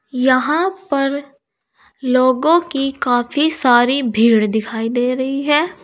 यहाँ पर लोगों की काफी सारी भीड़ दिखाई दे रही है।